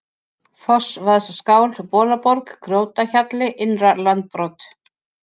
Fossvaðsskál, Bolaborg, Grjótahjalli, Innra-Landbrot